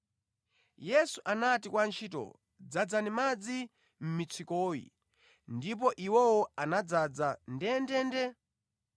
Yesu anati kwa antchitowo, “Dzazani madzi mʼmitsukoyi,” ndipo iwo anadzaza ndendende.